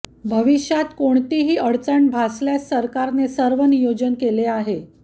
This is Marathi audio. भविष्यात कोणतीही अडचण भासल्यास सरकारने सर्व नियोजन केले आहे